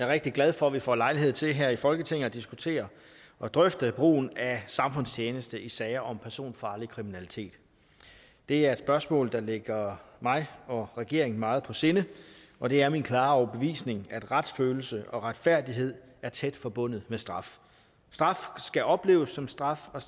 rigtig glad for at vi får lejlighed til her i folketinget at diskutere og drøfte brugen af samfundstjeneste i sager om personfarlig kriminalitet det er et spørgsmål der ligger mig og regeringen meget på sinde og det er min klare overbevisning at retsfølelse og retfærdighed er tæt forbundet med straf straf skal opleves som straf og